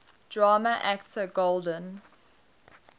drama actor golden